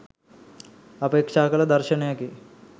අපේක්‍ෂා කළ දර්ශනයකි.